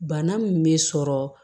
Bana min bɛ sɔrɔ